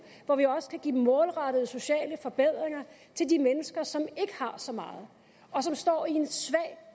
hvor vi også kan give målrettede sociale forbedringer til de mennesker som ikke har så meget og som står i en svag